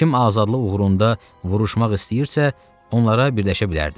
Kim azadlıq uğrunda vuruşmaq istəyirsə, onlara birləşə bilərdi.